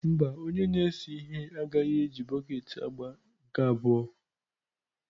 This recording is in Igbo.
Mba, onye na-ese ihe agaghị eji bọket agba nke abụọ.